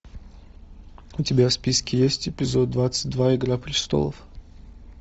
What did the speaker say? у тебя в списке есть эпизод двадцать два игра престолов